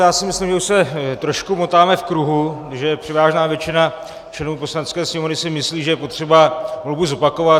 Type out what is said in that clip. Já si myslím, že už se trošku motáme v kruhu, že převážná většina členů Poslanecké sněmovny si myslí, že je potřeba volbu zopakovat.